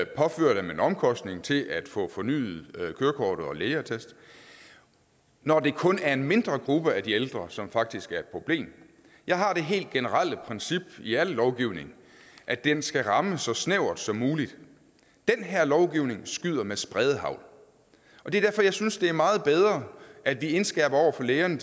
påfører dem en omkostning til at få fornyet kørekortet og en lægeattest når det kun er en mindre gruppe af de ældre som faktisk er et problem jeg har det helt generelle princip i al lovgivning at den skal ramme så snævert som muligt den her lovgivning skyder med spredehagl og det er derfor jeg synes det er meget bedre at vi indskærper over for lægerne